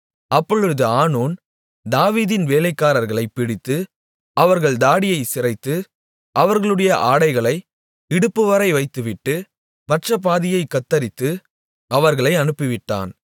அப்பொழுது ஆனூன் தாவீதின் வேலைக்காரர்களைப் பிடித்து அவர்கள் தாடியைச் சிரைத்து அவர்களுடைய ஆடைகளை இடுப்புவரை வைத்துவிட்டு மற்றபாதியைக் கத்தரித்து அவர்களை அனுப்பிவிட்டான்